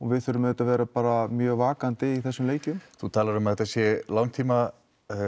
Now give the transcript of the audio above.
við verðum auðvitað að vera bara mjög vakandi í þessum leikjum þú talar um að þetta sé langtíma